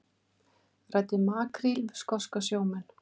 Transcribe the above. Ræddi makríl við skoska sjómenn